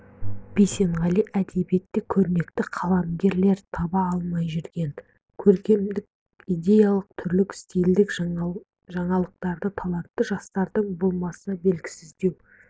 бейсенғали әдебиетте көрнекті қаламгерлер таба алмай жүрген көркемдік-идеялық түрлік стильдік жаңалықтарды талантты жастардың болмаса белгісіздеу